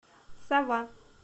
сова